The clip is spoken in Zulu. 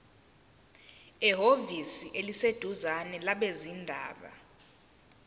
ehhovisi eliseduzane labezindaba